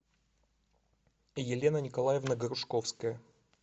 елена николаевна грушковская